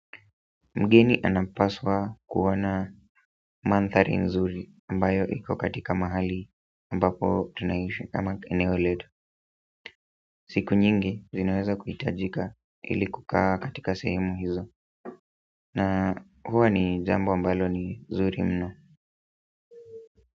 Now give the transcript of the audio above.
Mgeni anapaswa kuona mandhari nzuri ambayo iko katika mahali ambapo tunaishi kama eneo letu. Siku nyingi zinaweza kuhitajika ili kukaa katika sehemu hizo na huwa ni jambo ambalo ni nzuri mno.